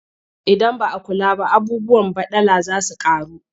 Idan ba a kula ba abubuwan baɗala za su ƙaru.